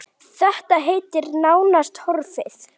Þetta heiti er nánast horfið.